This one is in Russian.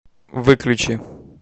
выключи